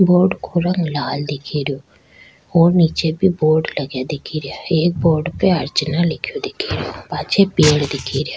Board को रंग लाल दिखे रो और नीचे भी बोर्ड लगया दिखे रिया एक बोर्ड पे अर्चना लिखेयो दिखेरो पाछे पेड़ दिखे रिया।